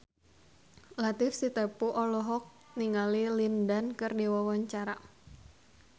Latief Sitepu olohok ningali Lin Dan keur diwawancara